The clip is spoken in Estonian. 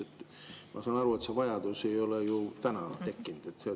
Sest ma saan aru, et see vajadus ei ole ju täna tekkinud.